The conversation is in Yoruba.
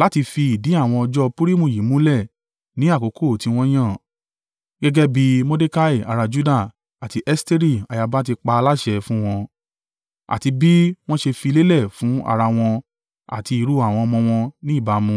Láti fi ìdí àwọn ọjọ́ ọ Purimu yìí múlẹ̀ ní àkókò tí wọ́n yàn, gẹ́gẹ́ bí Mordekai ará Juda, àti Esteri ayaba ti pa á láṣẹ fún wọn, àti bí wọ́n ṣe fi lélẹ̀ fún ara wọn àti irú àwọn ọmọ wọn ní ìbámu